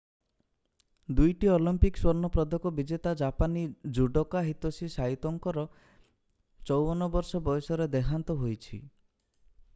ଦୁଇଟି ଅଲିମ୍ପିକ୍ ସ୍ୱର୍ଣ୍ଣ ପଦକ ବିଜେତା ଜାପାନୀ ଜୁଡୋକା ହିତୋସି ସାଇତୋଙ୍କର 54ବର୍ଷ ବୟସରେ ଦେହାନ୍ତ ହୋଇଛି